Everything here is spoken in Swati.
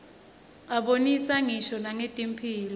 abonisa ngisho nangetemphilo